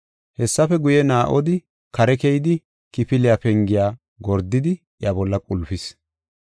Hessafe guye, Naa7odi kare keyidi, kifiliya pengiya gordidi iya bolla qulpis.